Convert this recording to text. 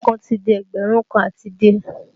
Dọ́là kan ti di ẹgbẹ̀rún kan àti díè